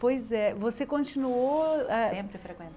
Pois é, você continuou ah... Sempre